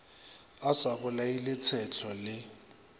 a sa bolaile tshetlo le